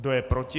Kdo je proti?